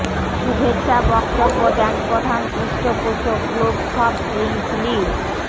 শুভেচ্ছা বক্তব্য দেন প্রধান পৃষ্ঠপোষক গ্লোব সফট ড্রিঙ্কস লি